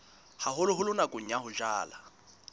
haholoholo nakong ya ho jala